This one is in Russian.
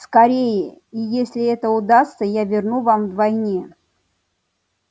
скорее и если это удастся я верну вам вдвойне